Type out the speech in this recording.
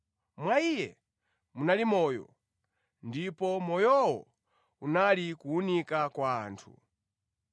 Mwa Iye munali moyo, ndipo moyowo unali kuwunika kwa anthu.